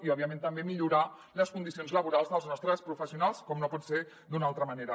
i òbviament també millorar les condicions laborals dels nostres professionals com no pot ser d’una altra manera